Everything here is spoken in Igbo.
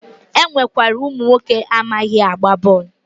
E nwekwara ụmụnwoke amaghị agba bọọlụ